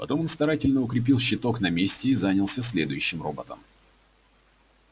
потом он старательно укрепил щиток на месте и занялся следующим роботом